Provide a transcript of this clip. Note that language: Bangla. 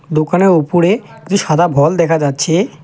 দোকানে ওপরে যে সাদা ভল দেখা যাচ্ছে--